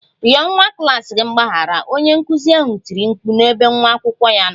Rịọ nwa klas gị mgbaghara! Onye nkụzi ahụ tiri mkpu n'ebe nwa akwụkwọ ya nọ